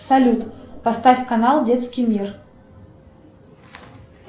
салют поставь канал детский мир